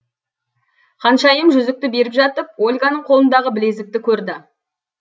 ханшайым жүзікті беріп жатып ольганың қолындағы білезікті көрді